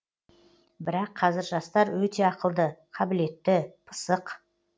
бірақ қазір жастар өте ақылды қабілетті пысық